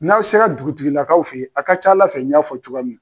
N'aw se la dugutigilakaw fɛ ye a ka c'Ala fɛ n y'a fɔ cogoya min na.